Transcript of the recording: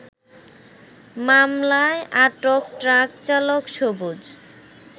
মামলায় আটক ট্রাক চালক সুবজ